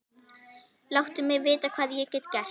Láttu vita hvað ég get gert.